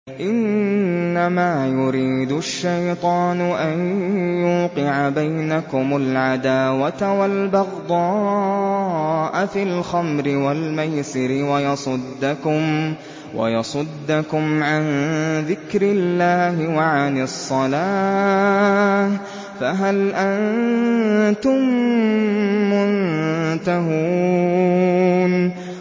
إِنَّمَا يُرِيدُ الشَّيْطَانُ أَن يُوقِعَ بَيْنَكُمُ الْعَدَاوَةَ وَالْبَغْضَاءَ فِي الْخَمْرِ وَالْمَيْسِرِ وَيَصُدَّكُمْ عَن ذِكْرِ اللَّهِ وَعَنِ الصَّلَاةِ ۖ فَهَلْ أَنتُم مُّنتَهُونَ